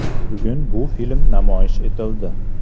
Bugun bu film namoyish etildi.